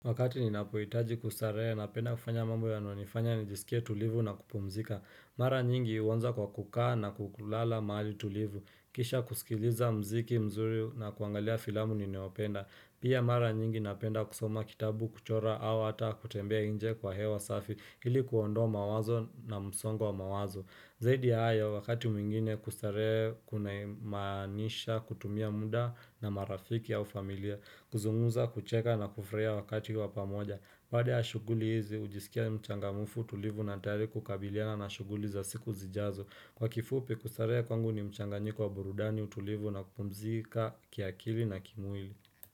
Wakati ninapuitaji kustaree na penda kufanya mambo ya no nifanya ni jisikia tulivu na kupumzika. Mara nyingi uonza kwa kukaa na kukulala maali tulivu. Kisha kusikiliza mziki mzuri na kuangalia filamu niniopenda. Pia mara nyingi napenda kusoma kitabu kuchora au ata kutembea inje kwa hewa safi ili kuondoa mawazo na msongwa mawazo. Zaidi haya wakati mwingine kustaree kunaimanisha kutumia muda na marafiki au familia. Kuzunguza kucheka na kufraia wakati wapamoja baada ya shuguli hizi, ujisikia mchangamufu tulivu na tayari kukabiliana na shuguli za siku zijazo Kwa kifupi, kustarehea kwangu ni mchanganyiko kwa burudani utulivu na kumzika kiakili na kimwili.